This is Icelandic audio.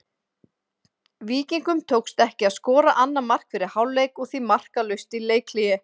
Víkingum tókst ekki að skora annað mark fyrir hálfleik og því markalaust í leikhléi.